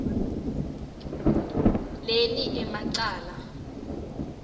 leli ema cala